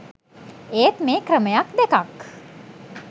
ඒත් මේ ක්‍රමයක් දෙකක්